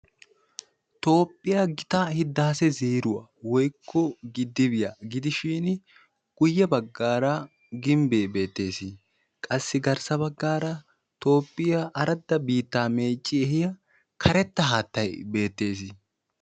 toophiya gitaa hidaase zeeruwa woykko giddiyibiyaa gidishin guyye baggaara gimbbe beettees. qassi garssa baggaara toophiya karetta biitta meecci ehiyaa karetta haattay beettees.